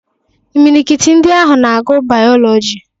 Imilikiti ndị ahụ na-agụ Bayọlọji.